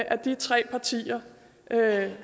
at de tre partier